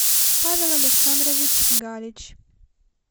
павел александрович галич